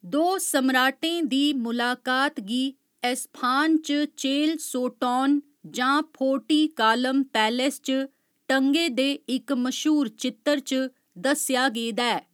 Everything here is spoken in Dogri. दो समराटें दी मुलाकात गी एस्फहान च चेहल सोटौन जां फोर्टी कालम पैलेस च टंगे दे इक मश्हूर चित्तर च दस्सेया गेदा ऐ।